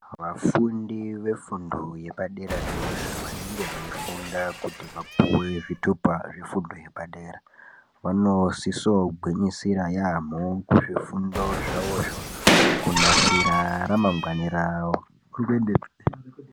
Vafundi vefundo yepadera dera vanenge veifunda kuti vapuwe zvitupa zvepadera vanosisa kugwinyisira yambo ngezvifundo zvavo zvo kunasira ramangwani ravo.